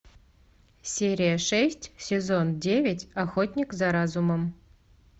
серия шесть сезон девять охотник за разумом